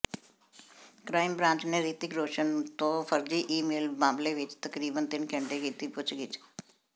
crime branch ਨੇ ਰਿਤਿਕ ਰੋਸ਼ਨ ਤੋਂ ਫਰਜ਼ੀ ਈਮੇਲ ਮਾਮਲੇ ਵਿੱਚ ਤਕਰੀਬਨ ਤਿੰਨ ਘੰਟੇ ਕੀਤੀ ਪੁੱਛਗਿੱਛ